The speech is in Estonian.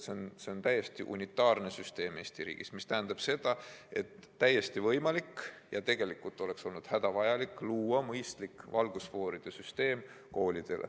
See on täiesti unitaarne süsteem Eesti riigis ja see tähendab seda, et oleks olnud võimalik ja tegelikult oleks olnud hädavajalik luua koolidele mõistlik valgusfooride süsteem.